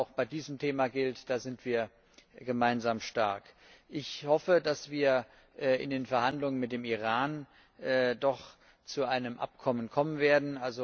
Auch bei diesem Thema gilt Da sind wir gemeinsam stark. Ich hoffe, dass wir in den Verhandlungen mit dem Iran doch zu einem Abkommen kommen werden.